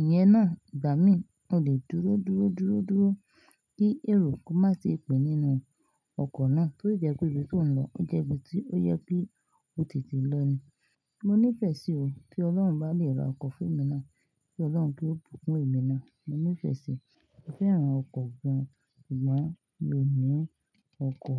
iyen náà ìgbà mí, o lè dúró, dúró, dúró, dúró kí èrò kó má ti pè nínú ọkọ̀ náà tí ó jẹ́ pé ibi tí ò ń lọ ó jẹ́ ibi tí ó yẹ kí o tètè lọ ni. Mo nífẹ̀ẹ́ sí o. Tí Ọlọ́run bá lè ra ọkọ̀ fún èmi náà. Kí Ọlọ́run kí ó bùkún ẹmi náà. Mo ni fesi, mo fẹ́ràn oko gan ṣùgbọ́n mi o ni oko.